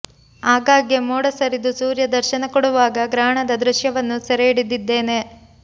ಆಗಾಗ್ಗೆ ಮೋಡ ಸರಿದು ಸೂರ್ಯ ದರ್ಶನ ಕೊಡುವಾಗ ಗ್ರಹಣದ ದೃಶ್ಯವನ್ನು ಸೆರೆ ಹಿಡಿದಿದ್ದೇನೆ